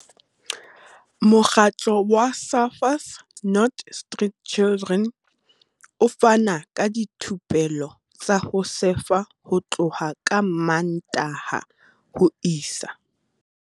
Mokgatlo wa Surfers Not Street Chidren o fana ka dithupelo tsa ho sefa ho tloha ka Mmantaha ho isa